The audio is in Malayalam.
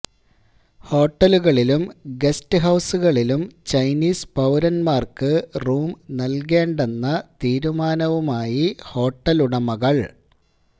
ഹോട്ടലുകളിലും ഗസ്റ്റ് ഹൌസുകളിലും ചൈനീസ് പൌരന്മാര്ക്ക് റൂം നല്കേണ്ടെന്ന തീരുമാനവുമായി ഹോട്ടലുടമകള്